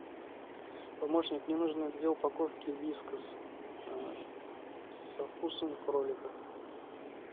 помощник мне нужно две упаковки вискас со вкусом кролика